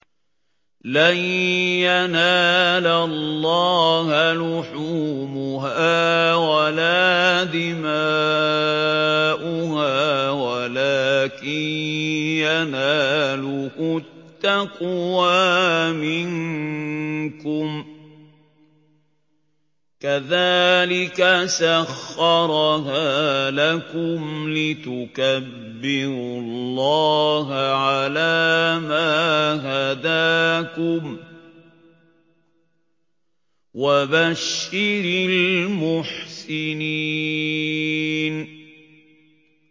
لَن يَنَالَ اللَّهَ لُحُومُهَا وَلَا دِمَاؤُهَا وَلَٰكِن يَنَالُهُ التَّقْوَىٰ مِنكُمْ ۚ كَذَٰلِكَ سَخَّرَهَا لَكُمْ لِتُكَبِّرُوا اللَّهَ عَلَىٰ مَا هَدَاكُمْ ۗ وَبَشِّرِ الْمُحْسِنِينَ